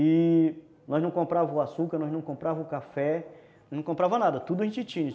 E nós não comprávamos açúcar, nós não comprávamos café, não comprávamos nada, tudo a gente tinha.